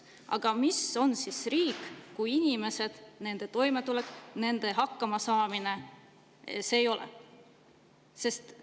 Aga mis on siis riik, kui inimesed, nende toimetulek ja nende hakkamasaamine seda ei ole?